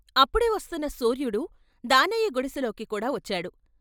అప్పుడే వస్తున్న సూర్యుడు దానయ్య గుడిసెలోకి కూడా వచ్చాడు.